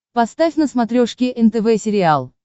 поставь на смотрешке нтв сериал